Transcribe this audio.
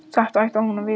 Þetta ætti hún að vita.